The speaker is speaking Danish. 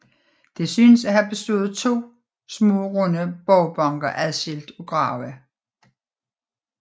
Det synes at have bestået af to små runde borgbanker adskilt af grave